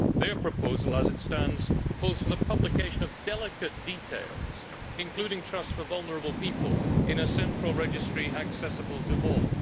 Their proposal as it stands calls for the publication of delicate details, including trusts for vulnerable people, in a central registry accessible to all.